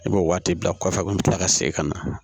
I b'o waati bila kɔfɛ a kun be kila ka segin ka na